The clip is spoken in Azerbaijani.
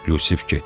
Yusif getdi.